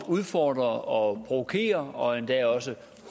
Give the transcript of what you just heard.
udfordre og provokere og endda også